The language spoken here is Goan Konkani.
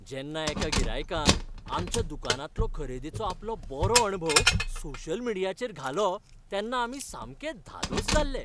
जेन्ना एका गिरायकान आमच्या दुकानांतलो खरेदेचो आपलो बरो अणभव सोशल मिडियाचेर घालो तेन्ना आमी सामके धादोस जाल्ले.